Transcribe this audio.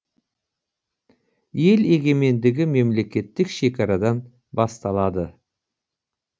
ел егемендігі мемлекеттік шекарадан басталады